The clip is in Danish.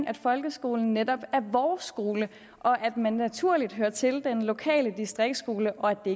at folkeskolen netop er vores skole og at man naturligt hører til den lokale distriktsskole og at det